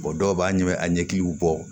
dɔw b'a ɲɛ a ɲɛkiliw bɔ